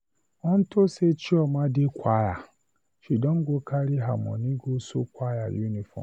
Unto say Chioma dey choir, she don carry her money go sew choir uniform.